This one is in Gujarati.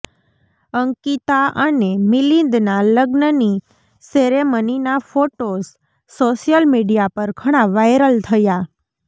અંકિતા અને મિલિંદના લગ્નની સેરેમનીના ફોટોસ સોશિયલ મીડિયા પર ઘણાં વાયરલ થયા